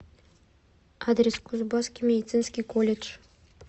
адрес кузбасский медицинский колледж